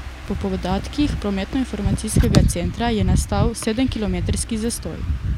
Po podatkih prometnoinformacijskega centra je nastal sedemkilometrski zastoj.